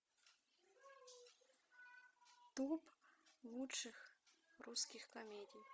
топ лучших русских комедий